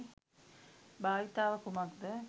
භාවිතාව කුමක්ද?